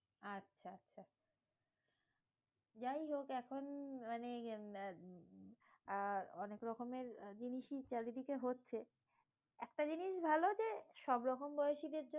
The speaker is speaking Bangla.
আচ্ছা আচ্ছা, যাইহোক এখন মানে আহ অনেক রকমের জিনিসই চারিদিকে হচ্ছে। একটা জিনিস ভালো যে, সবরকম বয়সীদের জন্য